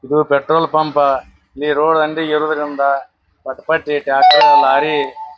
ಇದು petrol pump ಇಲ್ಲಿ road ಅಂಗ್ಡಿ ಇರೋದ್ರಿಂದ ಪಟ್ ಪಟ್ಟಿ ಟ್ರ್ಯಾಕ್ಟರ್ ಲಾರಿ.